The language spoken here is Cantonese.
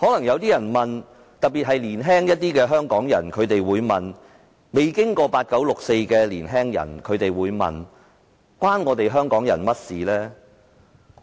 一些較年輕或未有經歷"八九六四"的年輕人可能會問，此事與香港人何干？